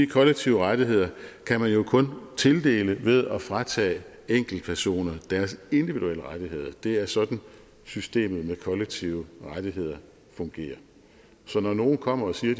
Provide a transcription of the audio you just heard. kollektive rettigheder kan man kun tildele ved at fratage enkeltpersoner deres individuelle rettigheder det er sådan systemet med kollektive rettigheder fungerer så når nogen kommer og siger